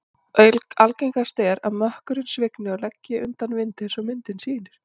Algengast er að mökkurinn svigni og leggi undan vindi eins og myndin sýnir.